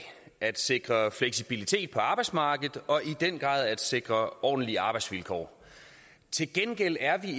at sikre fleksibilitet på arbejdsmarkedet og i den grad at sikre ordentlige arbejdsvilkår til gengæld er vi